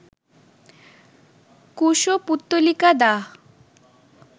কুশপুত্তলিকা দাহ